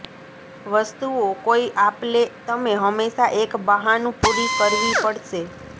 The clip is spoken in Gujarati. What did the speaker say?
વસ્તુઓ કોઇ આપલે તમે હંમેશા એક બહાનું પૂરી કરવી પડશે